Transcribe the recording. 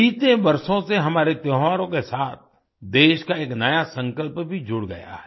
बीते वर्षों से हमारे त्योहारों के साथ देश का एक नया संकल्प भी जुड़ गया है